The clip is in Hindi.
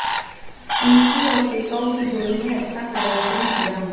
उनकी और टेकाउ की जोड़ी ने अच्छा प्रदर्शन किया